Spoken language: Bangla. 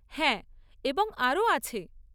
হ্যাঁ, এবং আরও আছে।